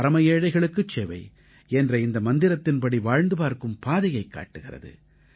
பரம ஏழைகளுக்குச் சேவை என்ற இந்த மந்திரத்தின்படி வாழ்ந்து பார்க்கும் பாதையைக் காட்டுகிறது